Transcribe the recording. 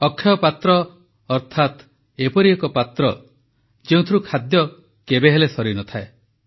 ଅକ୍ଷୟ ପାତ୍ର ଅର୍ଥାତ ଏପରି ଏକ ପାତ୍ର ଯେଉଁଥିରୁ ଖାଦ୍ୟ କେବେହେଲେ ସରିନଥାଏ